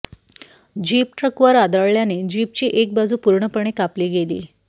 jeep ट्रकवर आदळल्याने जीपची एक बाजू पूर्णपणे कापली गेली